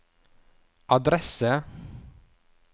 adresse